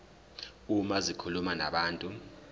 uma zikhuluma nabantu